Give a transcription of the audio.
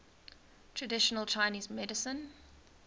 traditional chinese medicine